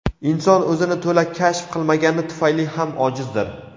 Inson o‘zini to‘la kashf qilmagani tufayli ham ojizdir.